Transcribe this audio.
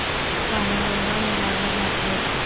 बाणगंगा मेळावा दाखव